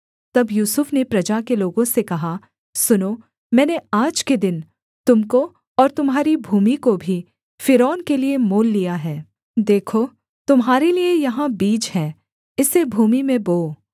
तब यूसुफ ने प्रजा के लोगों से कहा सुनो मैंने आज के दिन तुम को और तुम्हारी भूमि को भी फ़िरौन के लिये मोल लिया है देखो तुम्हारे लिये यहाँ बीज है इसे भूमि में बोओ